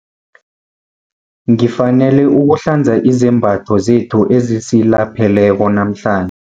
Ngifanele ukuhlanza izembatho zethu ezisilapheleko namhlan